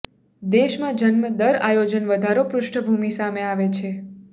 દેશમાં જન્મ દર આયોજન વધારો પૃષ્ઠભૂમિ સામે આવે છે